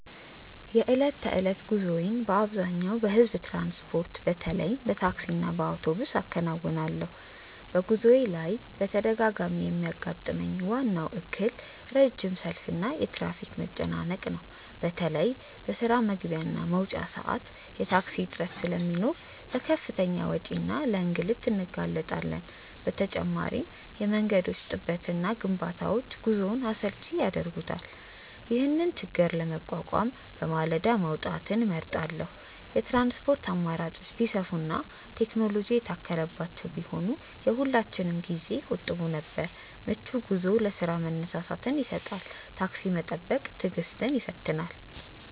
የዕለት ተዕለት ጉዞዬን በአብዛኛው በሕዝብ ትራንስፖርት፣ በተለይም በታክሲና በአውቶቡስ አከናውናለሁ። በጉዞዬ ላይ በተደጋጋሚ የሚያጋጥመኝ ዋናው እክል ረጅም ሰልፍና የትራፊክ መጨናነቅ ነው። በተለይ በስራ መግቢያና መውጫ ሰዓት የታክሲ እጥረት ስለሚኖር ለከፍተኛ ወጪና ለእንግልት እንጋለጣለን። በተጨማሪም የመንገዶች ጥበትና ግንባታዎች ጉዞውን አሰልቺ ያደርጉታል። ይህንን ችግር ለመቋቋም በማለዳ መውጣትን እመርጣለሁ። የትራንስፖርት አማራጮች ቢሰፉና ቴክኖሎጂ የታከለባቸው ቢሆኑ የሁላችንንም ጊዜ ይቆጥቡ ነበር። ምቹ ጉዞ ለስራ መነሳሳትን ይሰጣል። ታክሲ መጠበቅ ትዕግስትን ይፈትናል።